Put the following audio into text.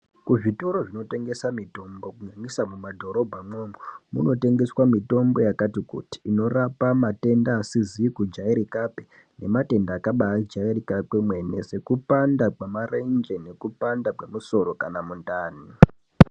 Kuzvitoro zvinotengesa mitombo kunyanyisa mumadhorobha mwomwo, kunotengeswa mitombo yakati kuti inorapa matenda asizi kujairikapi, nematenda akabaijairika kwemwene, sekupanda kwemarenje, nekupanda kwemusoro kana mundani.